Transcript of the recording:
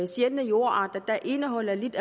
sjældne jordarter der indeholder lidt